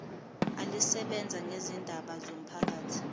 elisebenza ngezindaba zomphakathi